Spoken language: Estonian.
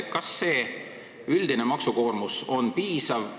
Kas üldine maksukoormus on piisav?